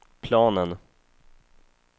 planen